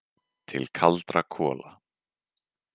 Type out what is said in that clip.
Til kaldra kola.